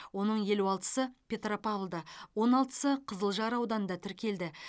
оның елу алтысы петропавлда он алтысы қызылжар ауданында тіркелді